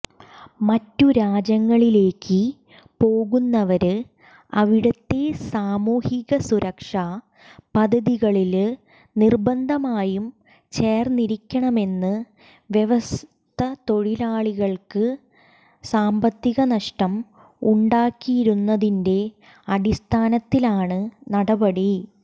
മറ്റു രാജ്യങ്ങളിലേക്ക് പോകുന്നവര് അവിടുത്തെ സാമൂഹിക സുരക്ഷാ പദ്ധതികളില് നിര്ബന്ധമായും ചേര്ന്നിരിക്കണമെന്ന വ്യവസ്ഥതൊഴിലാളികള്ക്ക് സാമ്പത്തികനഷ്ടം ഉണ്ടാക്കിയിരുന്നതിന്റെ അടിസ്ഥാനത്തിലാണ് നടപടി